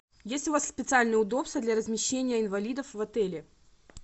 есть у вас специальные удобства для размещения инвалидов в отеле